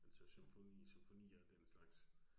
Altså symfonier og den slags